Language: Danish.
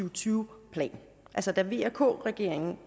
og tyve plan altså da vk regeringen